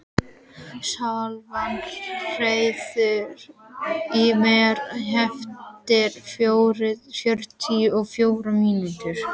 Svala, heyrðu í mér eftir fjörutíu og fjórar mínútur.